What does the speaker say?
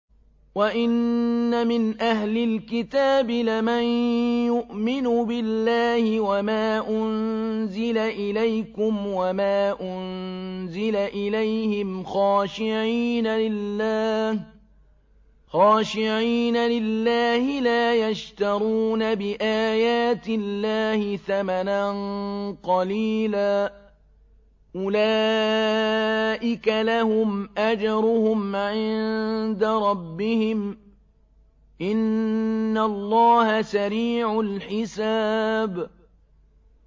وَإِنَّ مِنْ أَهْلِ الْكِتَابِ لَمَن يُؤْمِنُ بِاللَّهِ وَمَا أُنزِلَ إِلَيْكُمْ وَمَا أُنزِلَ إِلَيْهِمْ خَاشِعِينَ لِلَّهِ لَا يَشْتَرُونَ بِآيَاتِ اللَّهِ ثَمَنًا قَلِيلًا ۗ أُولَٰئِكَ لَهُمْ أَجْرُهُمْ عِندَ رَبِّهِمْ ۗ إِنَّ اللَّهَ سَرِيعُ الْحِسَابِ